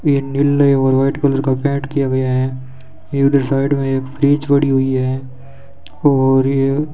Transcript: ये नीले और व्हाइट कलर का पेंट किया गया है ये उधर साइड में एक फ्रिज पड़ी हुई हुई है और ये --